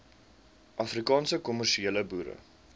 afrikaanse kommersiële boere